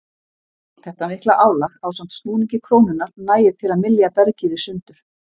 Þetta mikla álag ásamt snúningi krónunnar nægir til að mylja bergið sundur.